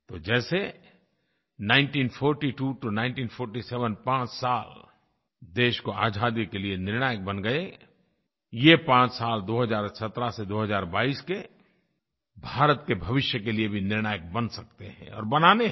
तो जैसे 1942 टो 1947 पाँच साल देश को आज़ादी के लिए निर्णायक बन गए ये पांच साल 2017 से 2022 के भारत के भविष्य के लिए भी निर्णायक बन सकते हैं और बनाने हैं